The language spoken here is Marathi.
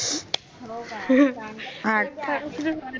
होका